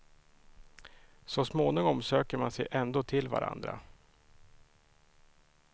Så småningom söker man sig ändå till varandra.